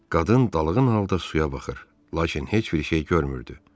Qadın dalğın halda suya baxır, lakin heç bir şey görmürdü.